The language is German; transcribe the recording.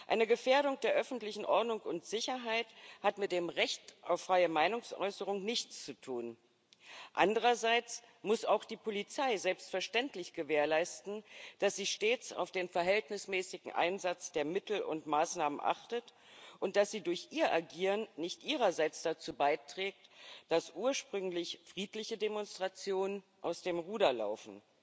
Eine Gefährdung der öffentlichen Ordnung und Sicherheit hat mit dem Recht auf freie Meinungsäußerung nichts zu tun. Andererseits muss auch die Polizei selbstverständlich gewährleisten, dass sie stets auf den verhältnismäßigen Einsatz der Mittel und Maßnahmen achtet und dass sie durch ihr Agieren nicht ihrerseits dazu beiträgt, dass ursprünglich friedliche Demonstrationen aus dem Ruder laufen.